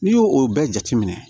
N'i y'o o bɛɛ jateminɛ